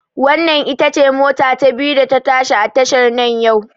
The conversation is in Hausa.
Wannan ita ce mota ta biyu da ta tashi a tashar nan yau